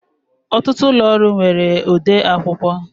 Ọtụtụ ụlọ ọrụ nwere odeakwụkwọ